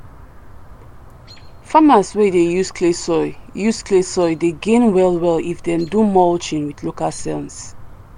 farmers wey dey use clay soil use clay soil dey gain well well if dem do mulching with local sense.